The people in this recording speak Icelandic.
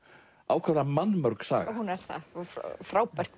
ákaflega mannmörg saga hún er það og frábært